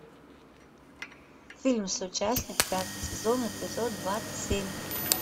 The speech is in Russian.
фильм соучастник пятый сезон эпизод двадцать семь